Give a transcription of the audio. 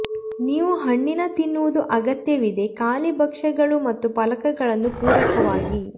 ನೀವು ಹಣ್ಣಿನ ತಿನ್ನುವುದು ಅಗತ್ಯವಿದೆ ಖಾಲಿ ಭಕ್ಷ್ಯಗಳು ಮತ್ತು ಫಲಕಗಳನ್ನು ಪೂರಕವಾಗಿ